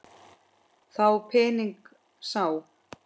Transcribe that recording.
Þá pening sá.